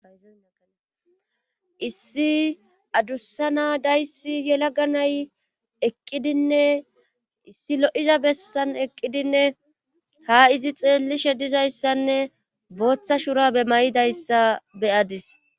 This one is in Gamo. Issi adussa na'a dayssi yelaga nay eqqidinne issi lo'iza besan eqidinne ha izi xeelishe dizayssanne booththa shurabe maydayssa be'adis.